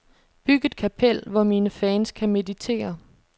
Byg et kapel, hvor mine fans kan meditere.